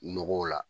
Nɔgɔw la